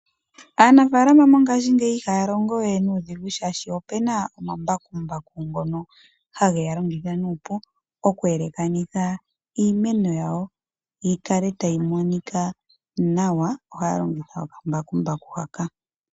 Aanafaalama mongaashingeyi ihaya longo we nuudhigu shaashi opena omambakumbaku ngono hage ya longitha nuupu, okwe elekanitha iimeno yawo yi kale tayi monika nawa ohaya longitha okambakumbaku haka.